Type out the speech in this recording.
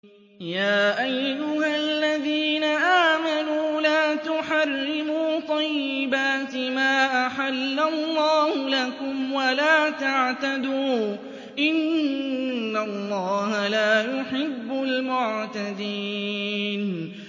يَا أَيُّهَا الَّذِينَ آمَنُوا لَا تُحَرِّمُوا طَيِّبَاتِ مَا أَحَلَّ اللَّهُ لَكُمْ وَلَا تَعْتَدُوا ۚ إِنَّ اللَّهَ لَا يُحِبُّ الْمُعْتَدِينَ